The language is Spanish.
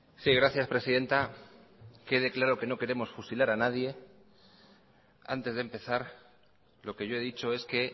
sí gracias presidenta que quede claro que no queremos fusilar a nadie antes de empezar lo que yo he dicho es que